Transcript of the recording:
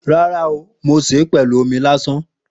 Ràrá o, mo sẹ pẹlú òmí làsán.